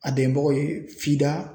A dɛnbagaw ye